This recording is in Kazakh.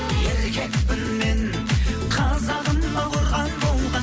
еркекпін мен қазағыма қорған болған